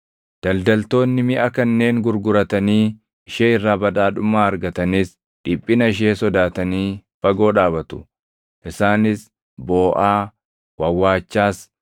Daldaltoonni miʼa kanneen gurguratanii ishee irraa badhaadhummaa argatanis dhiphina ishee sodaatanii fagoo dhaabatu. Isaanis booʼaa, wawwaachaas,